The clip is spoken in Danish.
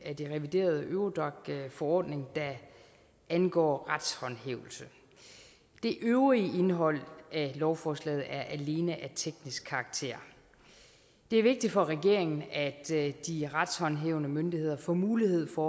af den reviderede eurodac forordning der angår retshåndhævelse det øvrige indhold af lovforslaget er alene af teknisk karakter det er vigtigt for regeringen at at de retshåndhævende myndigheder får mulighed for